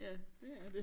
Ja det er det